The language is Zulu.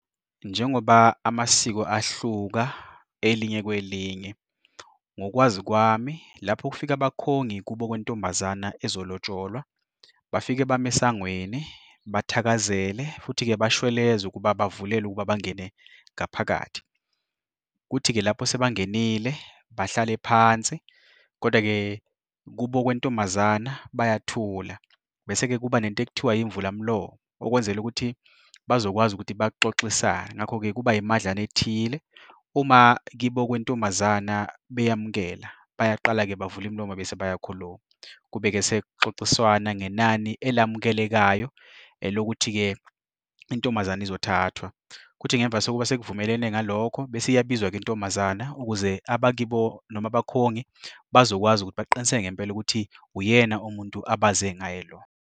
Njengoba amasiko ahluka elinye kwelinye, ngokwazi kwami lapho kufike abakhongi kubo kwentombazana ezolotsholelwa bafike bame esangweni, bathakazele futhi-ke bashweleze ukuba bavulelwe ukuba bangene ngaphakathi. Kuthi-ke lapho sebangenile, bahlale phansi, koda-ke kubo kwentombazana bayathula. Bese-ke kuba nento ekuthiwa yimvulamlomo, okwenzela ukuthi bazokwazi ukuthi baxoxisane, ngakho-ke kuba yimadlana ethile. Uma kibo kwentombazana beyamukela, bayaqala-ke bavula imilomo bese bayakhuluma. Kube-ke sekuxoxiswana ngenani elamukelekayo lokuthi-ke intombazana izothathwa. Kuthi ngemva sokuba sekuvumelwene ngalokho bese iyabizwa-ke intombazana ukuze abakibo noma abakhongi bazokwazi ukuthi baqiniseke ngempela ukuthi uyena umuntu abaze ngaye lo.